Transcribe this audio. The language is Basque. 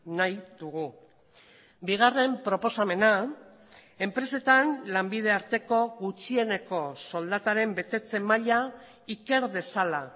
nahi dugu bigarren proposamena enpresetan lanbide arteko gutxieneko soldataren betetze maila iker dezala